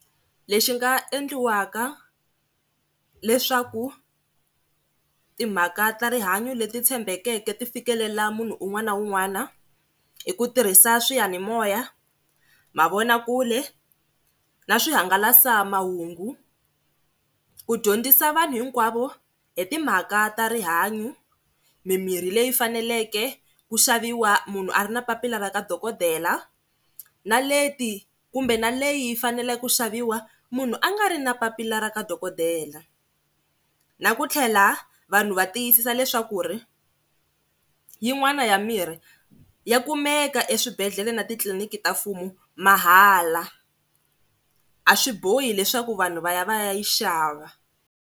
Lexi nga endliwaka leswaku timhaka ta rihanyo leti tshembeleke ti fikelela munhu un'wana na un'wana i ku tirhisa swiyanimoya, mavonakule na swihangalasamahungu ku dyondzisa vanhu hinkwavo hi timhaka ta rihanyo, mimirhi leyi faneleke ku xaviwa munhu a ri na papila ra ka dokodela na leti kumbe na leyi yi fanele ku xaviwa munhu a nga ri na papila ra ka dokodela, na ku tlhela vanhu va tiyisisa leswa ku ri yin'wana ya mirhi ya kumeka eswibedhlele na titliliniki ta mfumo mahala a swi bohi leswaku vanhu va ya va ya yi xava.